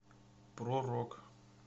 про рок